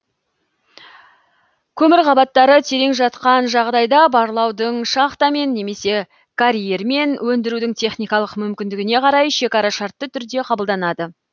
көмір қабаттары терең жатқан жағдайда барлаудың шахтамен немесе карьермен өндірудің техникалық мүмкіндігіне қарай шекара шартты түрде кабылданады